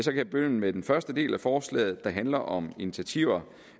jeg begynde med den første del af forslaget der handler om initiativer